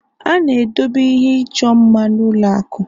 A na-edobe ihe ịchọ mma n'ụlọ akụ